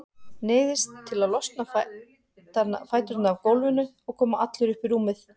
Neyðist til að losa fæturna af gólfinu og koma allur upp í rúmið.